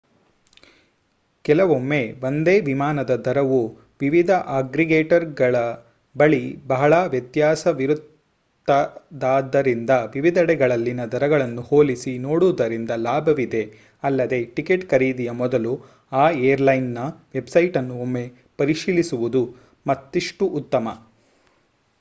ಕೆಲವೊಮ್ಮೆ ಒಂದೇ ವಿಮಾನದ ದರವು ವಿವಿಧ ಅಗ್ರೀಗೇಟರ್‍‌ಗಳ ಬಳಿ ಬಹಳ ವ್ಯತ್ಯಾಸವಿರುತ್ತದಾದ್ದರಿಂದ ವಿವಿಧೆಡೆಗಳಲ್ಲಿನ ದರಗಳನ್ನು ಹೋಲಿಸಿ ನೋಡುವುದರಿಂದ ಲಾಭವಿದೆ ಅಲ್ಲದೆ ಟಿಕೆಟ್ ಖರೀದಿಯ ಮೊದಲು ಆ ಏರ್‍‌ಲೈನ್‌ನ ವೆಬ್‍‍ಸೈಟ್ ಅನ್ನು ಒಮ್ಮೆ ಪರಿಶೀಲಿಸುವುದು ಮತ್ತಿಷ್ಟು ಉತ್ತಮ